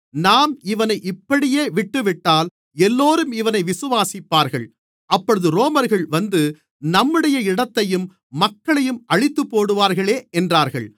நாம் இவனை இப்படியே விட்டுவிட்டால் எல்லோரும் இவனை விசுவாசிப்பார்கள் அப்பொழுது ரோமர்கள் வந்து நம்முடைய இடத்தையும் மக்களையும் அழித்துப்போடுவார்களே என்றார்கள்